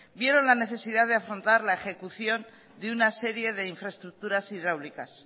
vieron la necesidad de afrontar la ejecución de una serie de infraestructuras hidráulicas